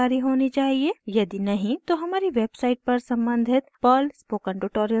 यदि नही तो हमारी वेबसाइट पर सम्बंधित पर्ल स्पोकन ट्यूटोरियल्स को देखें